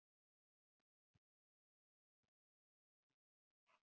Hann sneri sér beint að baróninum